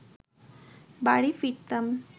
বাড়ি ফিরতাম